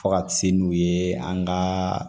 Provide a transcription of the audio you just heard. Fo ka se n'u ye an ka